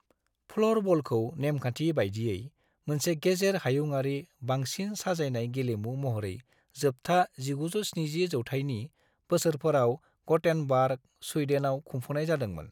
फ्ल'रबलखौ नेमखान्थि बायदियै मोनसे गेजेर हायुंआरि बांसिन साजायनाय गेलेमु महरै जोबथा 1970 जौथायनि बोसोरफोराव ग'टेनबार्ग, स्वीडोनआव खुंफुंनाय जादोंमोन।